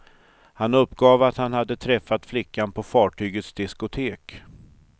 Han uppgav att han hade träffat flickan på fartygets diskotek.